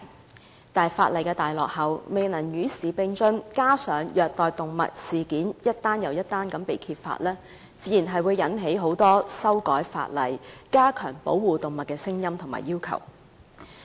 但是，相關法例太落後，未能與時並進，加上虐待動物事件陸續被揭發，自然引致很多人要求修改法例，加強保護動物。